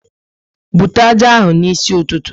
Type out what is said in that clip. Bute ájá ahụ n'isi ụtụtụ!